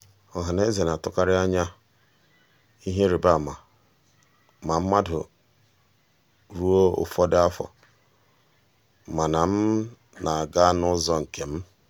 ọhaneze na-atụkarị anya ihe ịrịbama ma mmadụ ruo ụfọdụ afọ mana m na-aga n'ụzọ nke m.